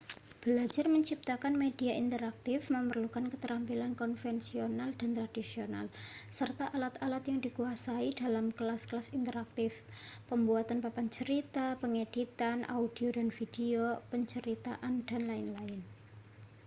belajar menciptakan media interaktif memerlukan keterampilan konvensional dan tradisional serta alat-alat yang dikuasai dalam kelas-kelas interaktif pembuatan papan cerita pengeditan audio dan video penceritaan dll.